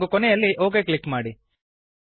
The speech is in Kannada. ಹಾಗೂ ಕೊನೆಯಲ್ಲಿ ಒಕ್ ಕ್ಲಿಕ್ ಮಾಡಿ